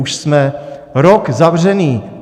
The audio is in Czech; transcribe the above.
Už jsme rok zavřený.